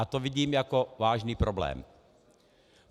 A to vidím jako vážný problém.